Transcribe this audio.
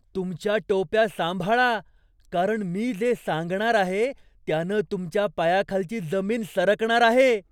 तुमच्या टोप्या सांभाळा, कारण मी जे सांगणार आहे त्यानं तुमच्या पायाखालची जमीन सरकणार आहे.